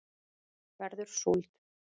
verður súld